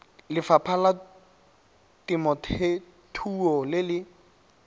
lefapha la temothuo le le